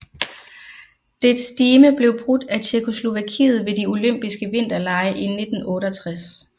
Dets stime blev brudt af Tjekkoslovakiet ved de Olympiske Vinterlege i 1968